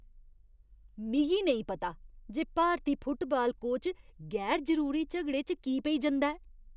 मिगी नेईं पता जे भारती फुटबाल कोच गैर जरूरी झगड़े च की पेई जंदा ऐ।